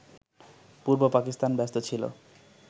পূর্ব পাকিস্তান ব্যস্ত ছিল